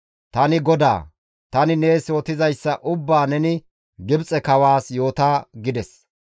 «Tani GODAA; tani nees yootizayssa ubbaa neni Gibxe kawaas yoota» gides.